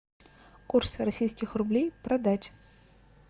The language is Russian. курс российских рублей продать